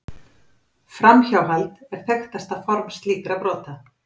Framhjáhald er þekktasta form slíkra brota.